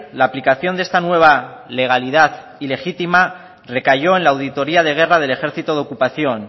la aplicación de esta nueva legalidad ilegítima recayó en la auditoría de guerra del ejército de ocupación